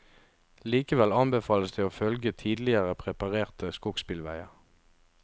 Likevel anbefales det å følge tidligere preparerte skogsbilveier.